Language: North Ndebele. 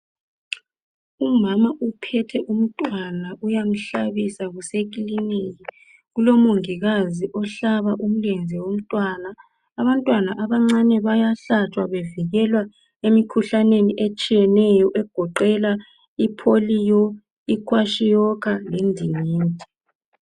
Umama uphethe umntwana uyamhlabisa kusekilinika kulomongikazi ohlaba umlenze womntwana, abantwana abancane bayahlatshwa bevikelwa emikhuhlaneni etshiyeneyo egoqela ipholiyo, ikwashiokar, lendingindi.